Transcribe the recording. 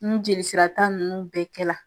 Ni jelisira ta nunnu bɛɛ kɛla